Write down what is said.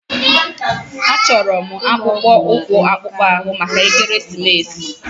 Achọrọ m akpụkpọ ụkwụ akpụkpọ anụ maka ekeresimesi.